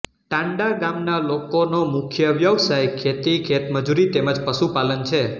ટાંડા ગામના લોકોનો મુખ્ય વ્યવસાય ખેતી ખેતમજૂરી તેમ જ પશુપાલન છે